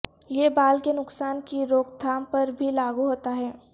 یہ بال کے نقصان کی روک تھام پر بھی لاگو ہوتا ہے